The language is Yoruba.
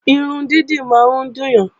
Irun dídì máa ń dùn yàn